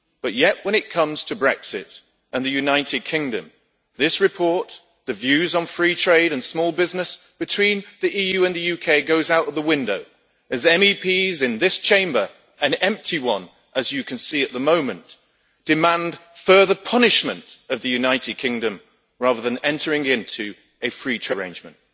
Yet when it comes to Brexit and the United Kingdom, in this report the views on free trade and small business between the EU and the UK goes out of the window as MEPs in this Chamber as you can see, an empty one at the moment demand further punishment of the United Kingdom rather than entering into a free trade arrangement.